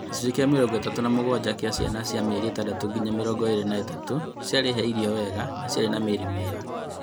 Gĩcunjĩ kĩa mĩrongo ĩtatũ na mũgwanja kĩa ciana cia mĩeri ĩtandatũ nginya mĩrongo ĩĩrĩ na ĩtatũ ciarĩ he irio wega na ciarĩ na mĩrĩre mĩega